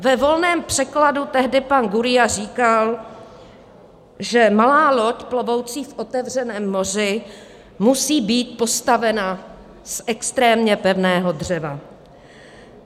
Ve volném překladu tehdy pan Gurría říkal, že malá loď plovoucí v otevřeném moři musí být postavena z extrémně pevného dřeva.